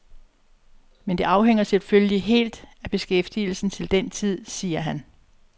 Men det afhænger selvfølgelig helt af beskæftigelsen til den tid, siger han.